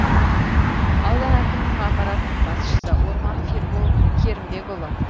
аудан әкімінің аппаратының басшысы орманов ербол керімбекұлы